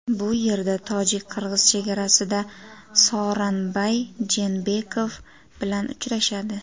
Bu yerda tojik-qirg‘iz chegarasida Sooronbay Jeenbekov bilan uchrashadi.